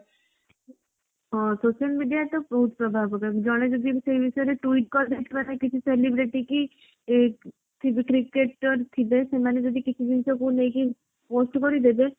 ହଁ social media ତ ବହୁତ ପ୍ରଭାବ ପକାଏ ଜଣେ ଯଦି ସେ ବିଷୟରେ twite କରିଦେଇଥିବା ନା କିଛି celebrity କି ସେ ଯୋଉ cricketer ଥିବେ ସେମାନେ ଯଦି କିଛି ଜିନିଷ କୁ ନେଇକି post କରିଦେବେ